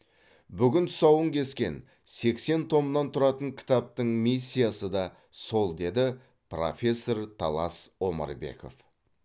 бүгін тұсауын кескен сексен томнан тұратын кітаптың миссиясы да сол деді профессор талас омарбеков